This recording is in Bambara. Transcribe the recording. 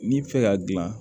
N'i bi fɛ ka dilan